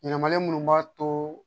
Yɛlɛmalen minnu b'a to